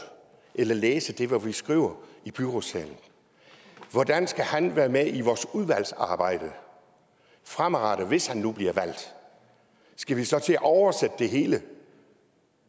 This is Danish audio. eller læse det hvad vi skriver i byrådssalen være med i vores udvalgsarbejde fremadrettet hvis han nu bliver valgt skal vi så til at oversætte det hele